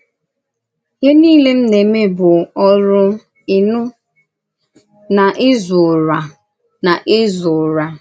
Íhè niile m na-eme bụ̀ orù, íṅụ̀, na ízù Ụ̀rà. na ízù Ụ̀rà.